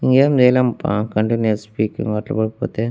ఇంగేం చెయ్లేం పా కంటిన్యూయస్ స్పీకింగ్ పోతే.